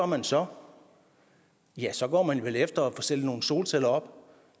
man så ja så går man vel efter at få stillet nogle solceller op